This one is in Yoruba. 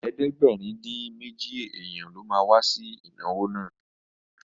Ẹgbẹ̀rin-dín-méjì èèyàn ló ma wá sí ìnáwó náà